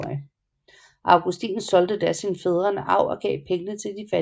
Augustin solgte da sin fædrenearv og gav pengene til de fattige